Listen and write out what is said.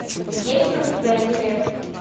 есть ли у тебя эверест